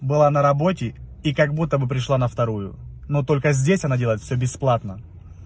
была на работе и как будто бы пришла на вторую но только здесь она делает все бесплатно